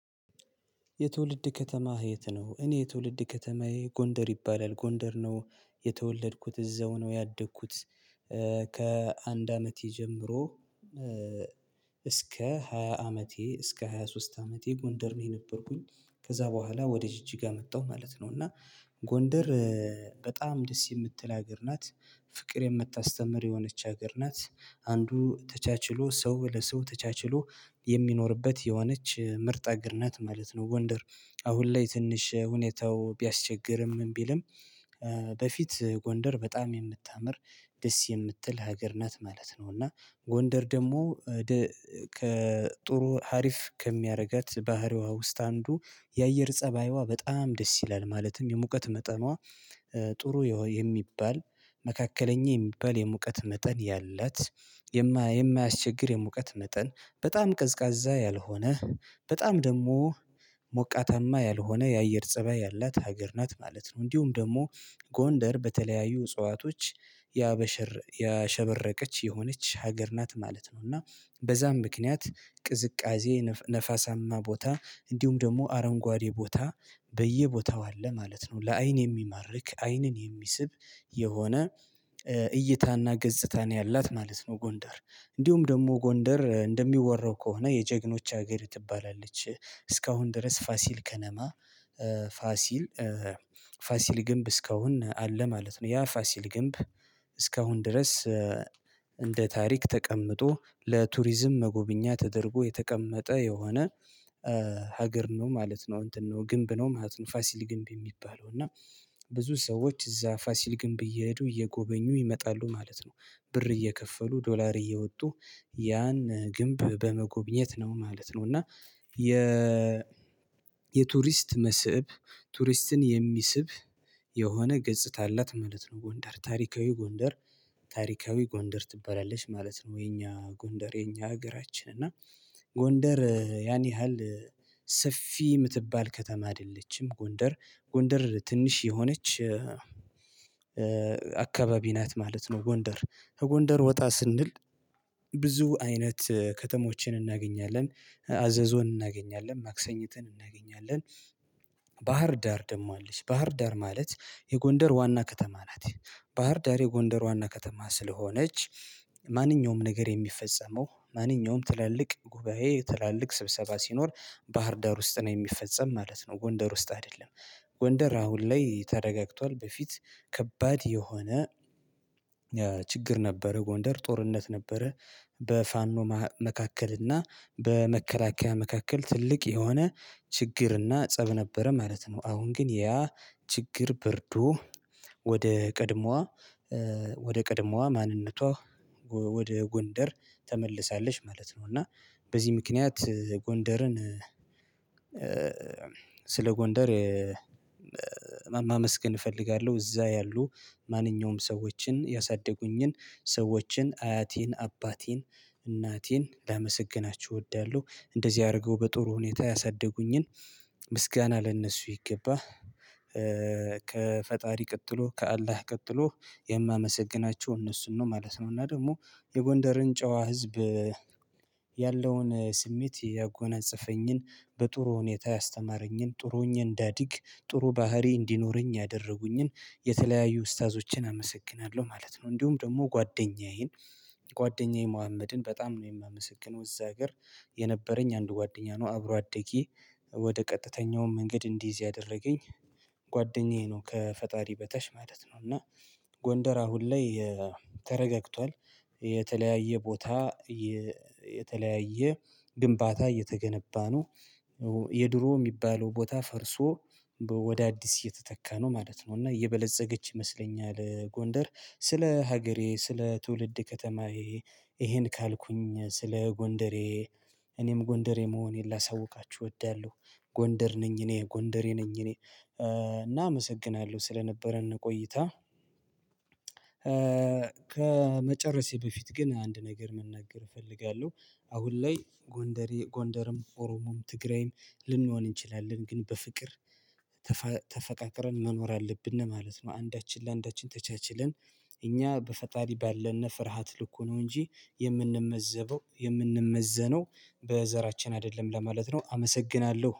የትውልድ ከተማህ የት ነው? እኔ የትውልድ ከተማዬ ጎንደር ይባላል ጎንደር ነው የተወለድኩት እዛው ነው ያደኩት ከአንድ አመቴ ጀምሮ። እስከ ሃያ አመቴ እስከ ሃያ ሶስት አመቴ ጎንደር ነበር የነበርኩኝ። ከዛ በኋላ ወደ ጅጅጋ መጣሁ ማለት ነው እና። ጎንደር በጣም ደስ የምትል ሀገር ናት። ፍቅር የምታስተምር የሆነች ሀገር ናት አንዱ ተቻችሎ ሰው ለሰው ተቻችሎ የሚኖርበት የሆነች ምርጥ አግር ናት ማለት ነው። ጎንደር አሁን ላይ ትንሽ ሁኔታው ቢያስቸግርም ምን ቢልም። በፊት ጎንደር በጣም የምታምር ደስ የምትል ሀገር ናት ማለት ነው። እና ጎንደር ደግሞ ከጥሩ ሀሪፍ ከሚያደርጋት ባህሪዋ ውስጥ አንዱ የአየር ፀባይዋ በጣም ደስ ይላል ማለትም የሙቀት መጠኗ። ጥሩ የሚባል መካከለኛ የሚባል የሙቀት መጠን ያላት። የማያስቸግር የሙቀት መጠን በጣም ቀዝቃዛ ያልሆነ በጣም ደግሞ ሞቃታማ ያልሆነ የአየር ፀባይ ያላት ሀገር ናት ማለት ነው። እንዲሁም ደግሞ ጎንደር በተለያዩ እጽዋቶች ያበሸር ያሸበረቀች የሆነች ሀገር ናት ማለት ነው። እና በዛም ምክንያት ቅዝቃዜ ነፋሳማ ቦታ እንዲሁም ደግሞ አረንጓዴ ቦታ በየቦታው አለ ማለት ነው። ለአይን የሚማርክ አይንን የሚስብ የሆነ እይታና ገጽታ ያላት ማለት ነው። ጎንደር እንዲሁም ደግሞ ጎንደር እንደሚወራው ከሆነ የጀግኖች ሀገር ትባላለች እስካሁን ድረስ ፋሲል ከነማ ፋሲል ፋሲል ግንብ እስካሁን አለ ማለት ነው። ያ ፋሲል ግንብ እስካሁን ድረስ እንደ ታሪክ ተቀምጦ ለቱሪዝም መጎብኛ ተደርጎ የተቀመጠ የሆነ ሀገር ነው ማለት ነው። እንትን ነው ግንብ ነው ማለት ነው ፋሲል ግንብ የሚባለው እና ብዙ ሰዎች እዛ ፋሲል ግንብ እየሄዱ እየጎበኙ ይመጣሉ ማለት ነው። ብር እየከፈሉ ዶላር እያወጡ ያን ግንብ በመጎብኘት ነው ማለት ነው እና። የ መስህብ ቱሪስትን የሚስብ የሆነ ገጽታ አላት ማለት ነው። ጎንደር ታሪካዊ ጎንደር ታሪካዊ ጎንደር ትባላለች ማለት ነው። የኛ ጎንደር የኛ ሀገራችን እና ጎንደር ያን ያህል ሰፊ የምትባል ከተማ አይደለችም። ጎንደር ጎንደር ትንሽ የሆነች አካባቢ ናት ማለት ነው። ጎንደር ከጎንደር ወጣ ስንል ብዙ አይነት ከተሞችን እናገኛለን አዘዞን እናገኛለን ማክሰኝትን እናገኛለን። ባህር ዳር ደግሞ አለች ባህር ዳር ማለት የጎንደር ዋና ከተማ ናት። ባህር ዳር የጎንደር ዋና ከተማ ስለሆነች ማንኛውም ነገር የሚፈጸመው ማንኛውም ትላልቅ ጉባኤ ትላልቅ ስብሰባ ሲኖር ባህር ዳር ውስጥ ነው የሚፈጸም ማለት ነው። ጎንደር ውስጥ አይደለም። ጎንደር አሁን ላይ ተረጋግቷል በፊት ከባድ የሆነ ችግር ነበረ ጎንደር ጦርነት ነበረ። በፋኖ መካከል እና በመከላከያ መካከል ትልቅ የሆነ ችግር እና ፀብ ነበረ ማለት ነው። አሁን ግን ያ ችግር በርዶ ወደ ቀድሞዋ ወደ ቀድሞዋ ማንነቷ ወደ ጎንደር ተመልሳለች ማለት ነው። እና በዚህ ምክንያት ጎንደርን ስለ ጎንደር ማመስገን እፈልጋለሁ እዛ ያሉ ማንኛውም ሰዎችን ያሳደጉኝን ሰዎችን አያቴን አባቴን እናቴን ላመሰግናችው እወዳለሁ። እንደዚህ አድርገው በጥሩ ሁኔታ ያሳደጉኝን ምስጋና ለእነሱ ይገባህ ከፈጣሪ ቀጥሎ ከአላህ ቀጥሎ የማመሰግናቸው እነሱን ነው ማለት ነው። እና ደግሞ የጎንደርን ጨዋ ህዝብ ያለውን ስሜት ያጎነጸፈኝን በጥሩ ሁኔታ ያስተማረኝን ጥሩ ሆኝ እንዳዲግ ጥሩ ባህሪ እንዲኖረኝ ያደረጉኝን የተለያዩ ኡስታዞችን አመሰግናለሁ ማለት ነው። እንዲሁም ደግሞ ጓደኛዬን ጓደኛዬ መሀመድን በጣም ነው የማመሰግነው እዛ ሀገር የነበረኝ አንድ ጓደኛ ነው አብሮ አደጌ ወደ ቀጥተኛውም መንግድ እንዲይዝ እዚህ ያደረገኝ ጓደኛዬ ነው ከፈጣሪ በታች ማለት ነው። እና ጎንደር አሁን ላይ ተረጋግቷል። የተለያየ ቦታ የተለያየ ግንባታ እየተገነባ ነው። የድሮ የሚባለው ቦታ ፈርሶ ወደ አዲስ እየተተካ ነው ማለት ነው። እና እየበለፀገች ይመስለኛል። ጎንደር ስለ ሀገሬ ስለ ትውልድ ከተማዬ ይሄን ካልኩኝ ስለ ጎንደሬ እኔም ጎንደሬ መሆኔን ላሳውቃችሁ እወዳለሁ። ጎንደር ነኝ እኔ ጎንደሬ ነኝ እኔ እና አመሰግናለሁ። ስለነበረን ቆይታ ከመጨረሴ በፊት ግን አንድ ነገር መናገር እፈልጋለሁ። አሁን ላይ ጎንደሬ ጎንደርም ኦሮሞም ትግራይም ልንሆን እንችላለን ግን በፍቅር ተፈቃቅረን መኖር አለብን ማለት ነው። አንዳችን ለአንዳችን ተቻችለን እኛ በፈጣሪ ባለን ፍርሃት ልኩ ነው እንጂ የምንመዘበው የምንመዘነው በዘራችን አይደለም ለማለት ነው። አመሰግናለሁ